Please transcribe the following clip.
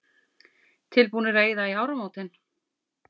Tilbúnir að eyða í áramótin